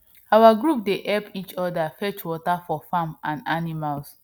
our group dey help each other fetch water for farm and animals